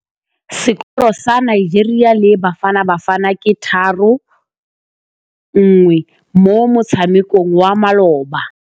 Sekôrô sa Nigeria le Bafanabafana ke 3-1 mo motshamekong wa malôba.